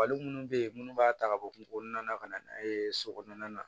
Fali munnu be yen munnu b'a ta ka bɔ kungo kɔnɔna na ka na n'a ye so kɔnɔna na